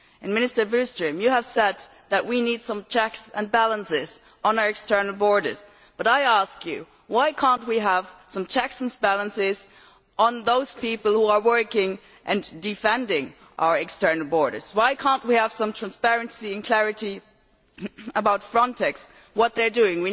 Minister Billström, you have said that we need some checks and balances on our external borders but, I ask you, why cannot we have some checks and balances on those people who are working and defending our external borders? Why cannot we have some transparency and clarity about Frontex and what they are doing?